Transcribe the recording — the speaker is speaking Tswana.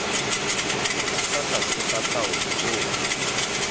fa tlase ga taolo koo